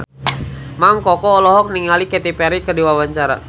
Mang Koko olohok ningali Katy Perry keur diwawancara